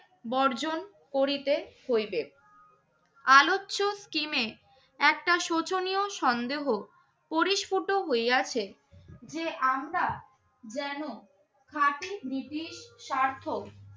বর্জন করিতে হইবে। আলোচ্য scheme এ একটা শোচনীয় সন্দেহ করিস্ফুত হইয়াছে যে আমরা যেন খাঁটি নীতি সার্থক